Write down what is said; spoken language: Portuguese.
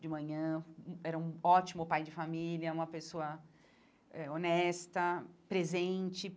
de manhã, hum era um ótimo pai de família, uma pessoa eh honesta, presente.